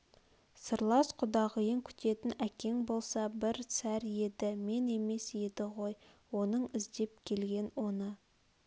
сырлас құдағиын күтетн әкең болса бір сәр еді мен емес еді ғой оның іздеп келген оны